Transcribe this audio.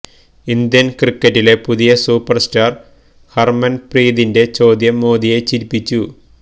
Indian ക്രിക്കറ്റിലെ പുതിയ super star ഹര്മന്പ്രീതിന്റെ ചോദ്യം മോദിയെ ചിരിപ്പിച്ചു